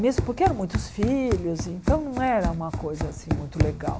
Mesmo porque eram muitos filhos, então não era uma coisa assim muito legal.